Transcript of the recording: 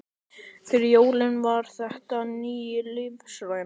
Fyrir Jóni var þetta ný lífsreynsla.